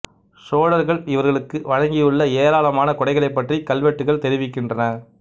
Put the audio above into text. சோழர்கள் இவர்களுக்கு வழங்கியுள்ள ஏராளமான கொடைகளைப் பற்றி கல்வெட்டுக்கள் தெரிவிக்கின்றன